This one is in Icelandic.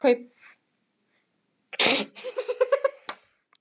Nú skalt þú borga fyrir okkur öll.